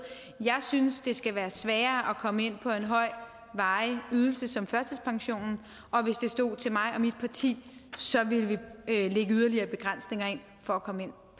jeg synes det skal være sværere at komme ind på en høj varig ydelse som førtidspensionen og hvis det stod til mig og mit parti så ville vi lægge yderligere begrænsninger ind for at komme ind